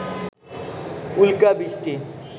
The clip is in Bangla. উল্কাবৃষ্টি